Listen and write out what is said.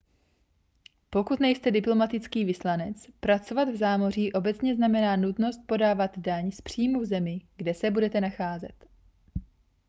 pokud nejste diplomatický vyslanec pracovat v zámoří obecně znamená nutnost podávat daň z příjmu v zemi kde se budete nacházet